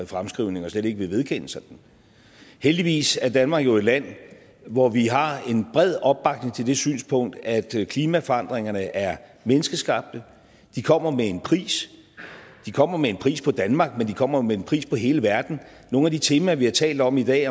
fremskrivning og slet ikke vil vedkende sig den heldigvis er danmark jo et land hvor vi har en bred opbakning til det synspunkt at klimaforandringerne er menneskeskabte de kommer med en pris de kommer med en pris på danmark men de kommer også med en pris på hele verden nogle af de temaer vi har talt om i dag i